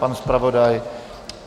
Pan zpravodaj?